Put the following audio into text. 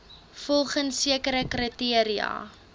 volgens sekere kriteria